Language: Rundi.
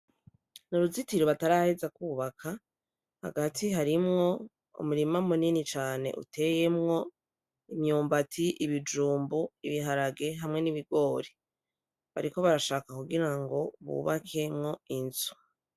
N'uruzitiro bataraheza kwubaka hagati harimwo umurima munini cane uteyemwo imyumbati, ibijumbu, ibiharage hamwe n'ibigori, bariko barashaka kugirango bubakemwo inzu.